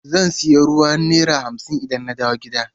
Zan sayi ruwa naira hamsin idan na dawo gida.